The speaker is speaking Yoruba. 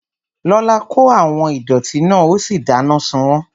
Lọlá kó àwọn ìdọ̀ọ̀tí náà ó sì dáná sun wọ́n